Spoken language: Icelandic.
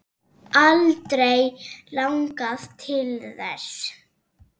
Aldrei langað til þess.